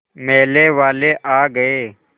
मेले वाले आ गए